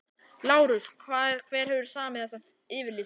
LÁRUS: Hver hefur samið þessa yfirlýsingu?